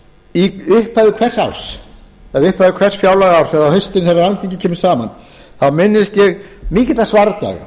í upphafi hvers fjárlagaárs eða á haustin þegar alþingi kemur saman minnist ég mikilla svardaga